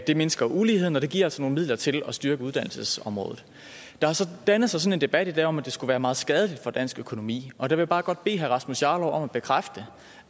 det mindsker uligheden og det giver altså nogle midler til at styrke uddannelsesområdet der har så dannet sig sådan en debat i dag om at det skulle være meget skadeligt for dansk økonomi og jeg vil bare godt bede herre rasmus jarlov om at bekræfte